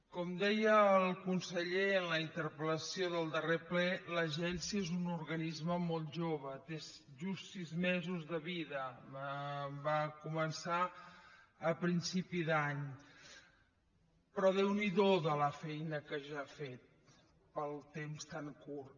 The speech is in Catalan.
com deia el conseller en la interpel·lació del darrer ple l’agència és un organisme molt jove té just sis mesos de vida va començar a principi d’any però déu n’hi do la feina que ja ha fet pel temps tan curt